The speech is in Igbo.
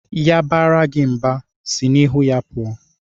Ya baara gị mba, sị n'ihu ya pụọ!